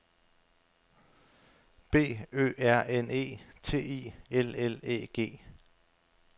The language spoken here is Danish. B Ø R N E T I L L Æ G